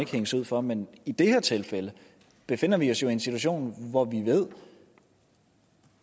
hænges ud for men i det her tilfælde befinder vi os jo i en situation hvor vi ved